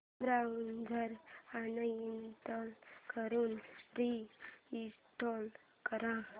browser uninstall करून reinstall कर